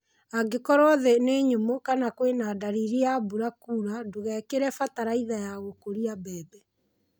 Angĩkorwo thĩĩ nĩ nyũmũ kana kwĩna ndariri ya mbura kuura ndũgekĩre bataraitha ya gũkũria mbembe.